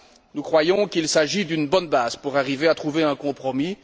Nous croyons qu'il s'agit d'une bonne base pour arriver à trouver un compromis.